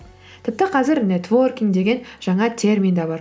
тіпті қазір нетворкинг деген жаңа термин де бар